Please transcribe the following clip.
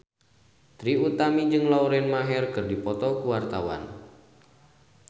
Trie Utami jeung Lauren Maher keur dipoto ku wartawan